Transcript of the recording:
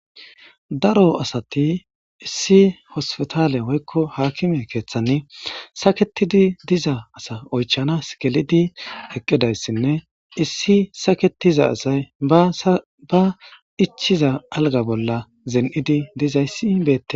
Daro asati issi hospitaale woykko aakkime keeththan saketidi diza asa oychchanas gelidi eqqidayssinne issi saketiza asay ba ichchiza algga bolla zini'idi dizayssi beettes.